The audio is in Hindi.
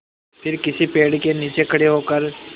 फिर किसी पेड़ के नीचे खड़े होकर